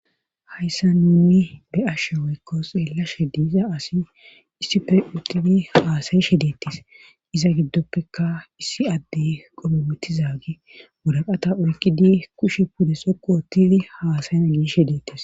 Hayssa nuni be7ashe woykko xeellashe diiza asi issife uttili haasayishe deettes iza giddoppeka issi adde qomomettizaagi moraqata oykidi kushe pudde soqu utili haasayana giishe deettis.